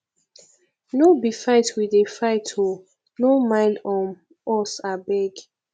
no be fight we dey fight oo no mind um us abeg